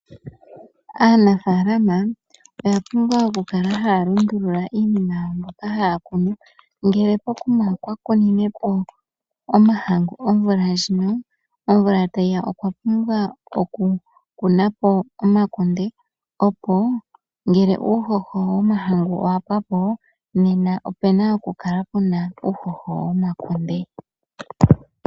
Aanafalama oya pumbwa okukala halundulula iinima yawo mbyoka haya kunu ngele pokuma okwa kuninepo omahangu omvula ndjino, omvula tayiya okwa pumbwa oku kunapo omakunde, opo ngele uuhoho womahangu owa pwapo nena opena okukala puna uhoho womakunde.